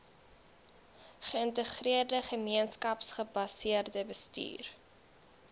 geïntegreerde gemeenskapsgebaseerde bestuur